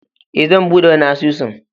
E, zan buɗe wani asusun